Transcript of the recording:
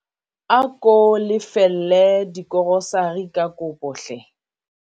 ako lefelle dikorosari ka kopo hle